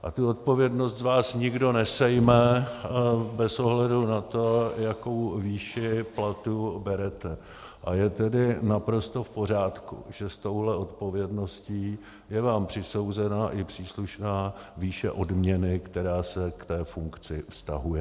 A tu odpovědnost z vás nikdo nesejme bez ohledu na to, jakou výši platu berete, a je tedy naprosto v pořádku, že s touto odpovědností je vám přisouzena i příslušná výše odměny, která se k té funkci vztahuje.